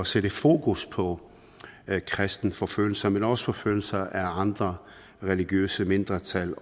sætte fokus på kristenforfølgelser men også forfølgelser af andre religiøse mindretal